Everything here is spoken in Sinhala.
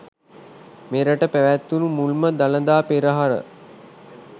මෙරට පැවැත්වුණු මුල්ම දළදා පෙරහර